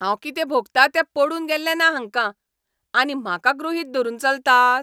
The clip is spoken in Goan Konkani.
हांव कितें भोगतां तें पडून गेल्लें ना हांकां, आनी म्हाका गृहीत धरून चलतात?